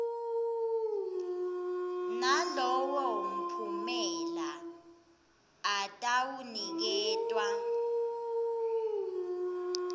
nalowo mphumela atawuniketwa